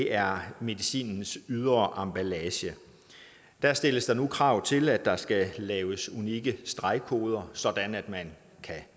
er medicinens ydre emballage der stilles nu krav til at der skal laves unikke stregkoder sådan at man kan